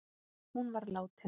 Hún var látin.